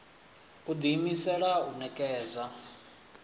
u ḓi imisela u ṋekedza